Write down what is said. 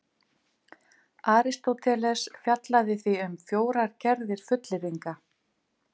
Aristóteles fjallaði því um fjórar gerðir fullyrðinga: